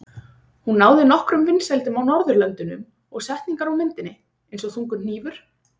Hún náði nokkrum vinsældum á Norðurlöndunum og setningar úr myndinni, eins og Þungur hnífur?